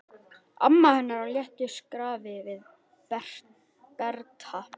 Amma hennar á léttu skrafi við Berta.